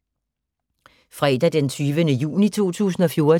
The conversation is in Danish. Fredag d. 20. juni 2014